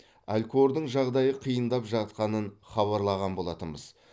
алькордың жағдайы қиындап жатқанын хабарлаған болатынбыз